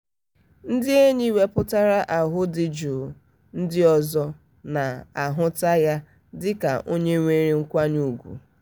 ndị enyi wepụtara ahụ dị jụụ ndị ọzọ na-ahụta ya dị ka onye nwere nkwanye ugwu.